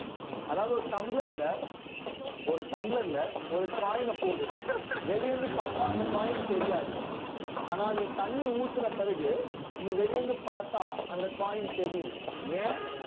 அதாவது ஒரு டம்ளர்ல ஒரு டம்ளர்ல ஒரு coin அ போடு வெளிய இருந்து பார்த்தா அந்த coin தெரியாது ஆனா நீ தண்ணி ஊத்துன பிறகு நீ வெளியே இருந்து பார்த்தா அந்த coin தெரியும் ஏன்